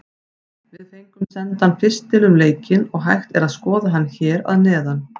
Við fengum sendan pistil um leikinn og hægt er að skoða hann hér að neðan.